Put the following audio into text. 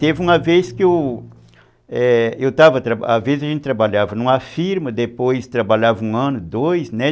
Teve uma vez que eu...É, às vezes a gente trabalhava numa firma, depois trabalhava um ano, dois, né?